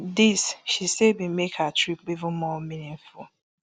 dis she say bin make her trip even more meaningful